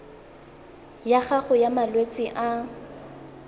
ya gago ya malwetse a